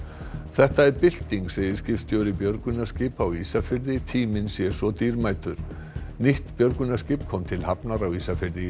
þetta er bylting segir skipstjóri björgunarskipa á Ísafirði tíminn sé svo dýrmætur nýtt björgunarskip kom til hafnar á Ísafirði í